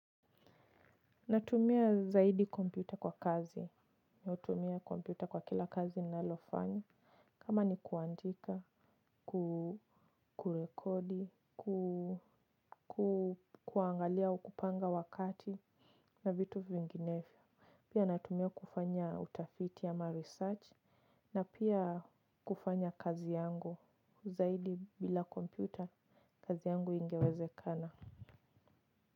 Natumia zaidi kompyuta kwa kazi. Natumia kompyuta kwa kila kazi ninalofanya. Kama ni kuandika, kurekodi, kuangalia au kupanga wakati na vitu vinginevyo. Pia natumia kufanya utafiti ama research na pia kufanya kazi yangu. Zaidi bila kompyuta kazi yangu haingewezekana.